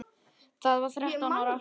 Ég var þrettán ára.